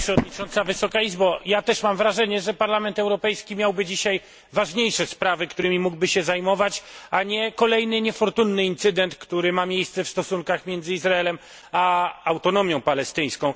Pani Przewodnicząca! Ja też mam wrażenie, że Parlament Europejski miałby dzisiaj ważniejsze sprawy, którymi mógłby się zajmować, a nie kolejny niefortunny incydent, który ma miejsce w stosunkach między Izraelem a Autonomią Palestyńską.